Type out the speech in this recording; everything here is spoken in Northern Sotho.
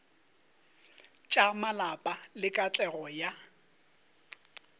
tša malapa le katlego ya